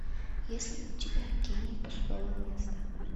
есть ли у тебя гений пустого места